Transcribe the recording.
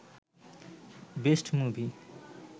best movie